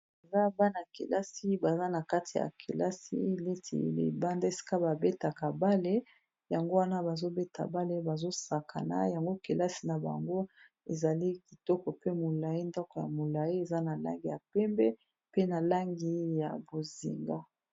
Eza bana-kelasi baza na kati ya kelasi neti libanda esika ba betaka bale yango wana bazo beta bale bazo sakana yango kelasi na bango ezali kitoko pe molayi ndako ya molayi eza na langi ya pembe pe na langi ya bozinga.